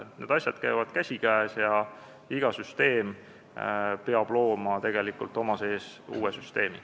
Need asjad käivad käsikäes ja iga süsteem peab looma tegelikult enda sees uue süsteemi.